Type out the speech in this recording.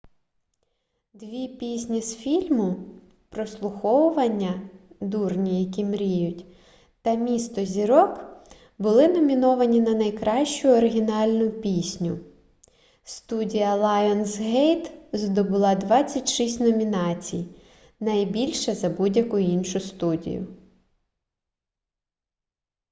дві пісні з фільму прослуховування дурні які мріють та місто зірок були номіновані на найкращу оригінальну пісню. студія лайонсгейт здобула 26 номінацій – більше за будь-яку іншу студію